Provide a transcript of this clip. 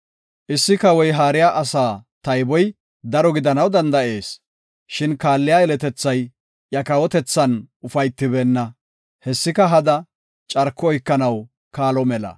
Issi kawoy haariya asaa tayboy daro gidanaw danda7ees. Shin kaalliya yeletethay iya kawotethan ufaytibeenna. Hessika hada; carko oykanaw kaalo mela.